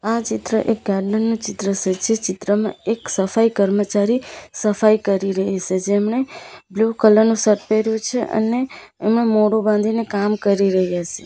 આ ચિત્ર એક ગાર્ડન નું ચિત્ર સે જે ચિત્રમાં એક સફાઈ કર્મચારી સફાઈ કરી રહી સે જેમને બ્લુ કલર નું શર્ટ પેયરુ છે અને એમાં મોઢું બાંધીને કામ કરી રહ્યા સે.